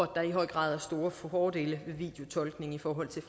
der i høj grad er store fordele ved videotolkning i forhold til